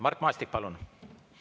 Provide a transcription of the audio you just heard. Mart Maastik, palun!